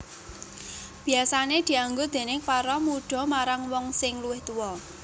Biasané dianggo déning para mudha marang wong sing luwih tuwa